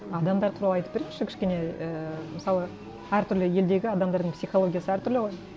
адамдар туралы айтып беріңізші кішкене і мысалы әртүрлі елдегі адамдардың психологиясы әртүрлі ғой